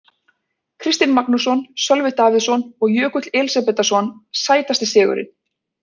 Kristinn Magnússon, Sölvi Davíðsson og Jökull Elísabetarson Sætasti sigurinn?